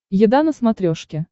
еда на смотрешке